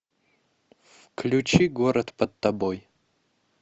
включи город под тобой